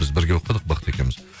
біз бірге оқыдық бақыт екеуіміз